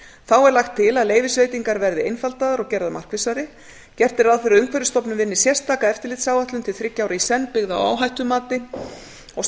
þá er lagt til að leyfisveitingar verði einfaldaðar og gerðar markvissari gert er ráð fyrir að umhverfisstofnun vinni sérstaka eftirlitsáætlun til þriggja ára í senn byggða á áhættumati og að